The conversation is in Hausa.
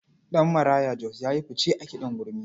Ɗanmarayo Jos ya yi fice a kiɗan gurmi.